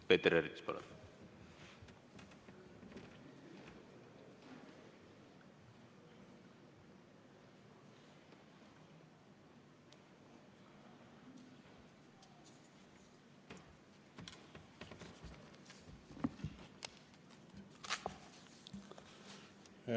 Peeter Ernits, palun!